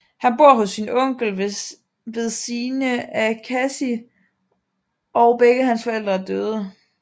Han bor hos sin onkel ved sine af Cassie og begge hans forældre er døde